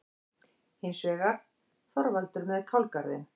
Hins vegar: Þorvaldur með kálgarðinn.